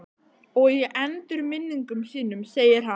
Og í endurminningum sínum segir hann